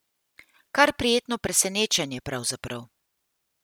Kar prijetno presenečenje pravzaprav.